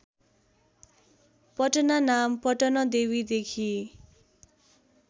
पटना नाम पटनदेवीदेखि